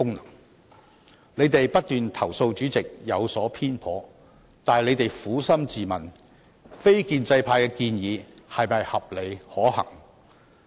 反對派議員不斷投訴主席有所偏頗，但請他們撫心自問，非建制派的建議是否合理可行？